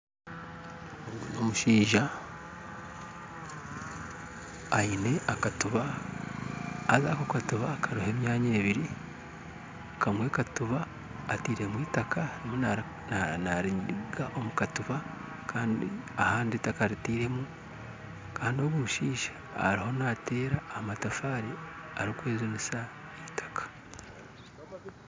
Omushaija aine akatiba haza akatiba kariho emyanya ebiri kamwe akatiba atairemu eitaka nariteeka omukatiba ahandi takaritairemu Kandi ogu omushaija ariho nateera amatafaari arikwejunisa eitaka